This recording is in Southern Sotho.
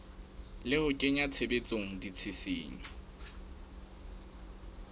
le ho kenya tshebetsong ditshisinyo